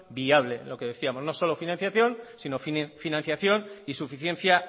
viable lo que decíamos no solo financiación sino financiación y suficiencia